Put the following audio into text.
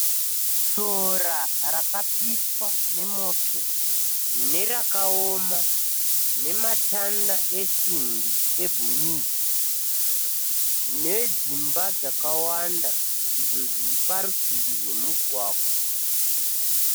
Sora rakapiswa nemoto nerakaoma, nematanda esimbi ebhuruu. Nedzimba dzakawanda, izvo zviri parutivi rwemugwagwa.